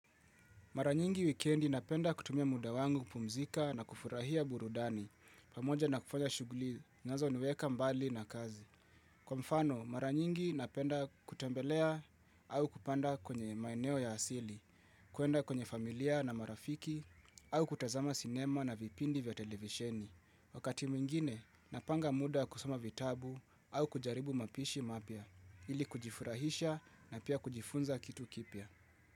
Maranyingi wikendi napenda kutumia muda wangu pumzika na kufurahia burudani. Pamoja na kufanya shughuli, nazo niweka mbali na kazi. Kwa mfano, maranyingi napenda kutembelea au kupanda kwenye maeneo ya asili, kuenda kwenye familia na marafiki, au kutazama sinema na vipindi vya televisheni. Wakati mwingine, napanga muda kusoma vitabu au kujaribu mapishi mapya ili kujifurahisha na pia kujifunza kitu kipya.